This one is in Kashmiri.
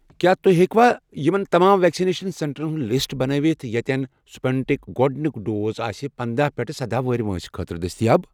کیٛاہ تُہۍ ہیٚکوا یِمَن تمام ویکسِنیشن سینٹرن ہُنٛد لسٹ بنٲوِتھ یتٮ۪ن سٕپُٹنِک ۔ گۄڈنیُک ڈوز آسہِ پنَدہَ پیٹھٕ سدہَ وُہُر وٲنٛسہِ خٲطرٕ دٔستِیاب؟